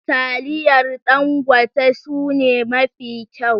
taliyar Dangote sune mafi kyau.